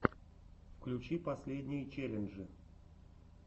включи последние челленджи